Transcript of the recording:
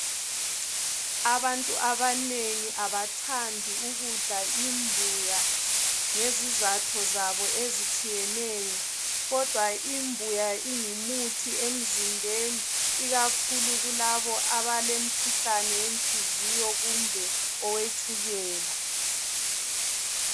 Abantu abanengi abathandi ukudla imbuya ngezizatho zabo ezitshiyeneyo. Kodwa imbuya ingumuthi emzimbeni ikakhulu kulabo abalemkhuhlane yenhliziyo kumbe owetshukela.